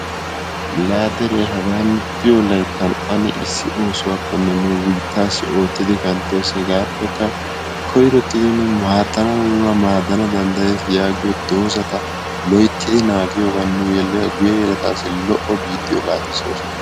laa dere nu diyo layttan ane oosuwakonne nu biitaassi ane ottidi kanttootoos, hegapekka koyrottidi nuna maadana dandayees yaagiyo dozata tokkiyogan loytidi naaagiyogan nu yeletaasi lo'o biittiyo laatissoos.